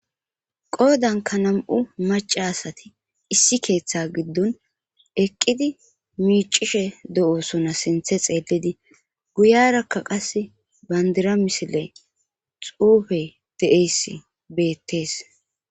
qoodanka nam7u maca asati issi keeththe giddon eqqidi miicishe do7osona sinthe xeelidi guyarakka qass bandira misile xuufey de7eys beettees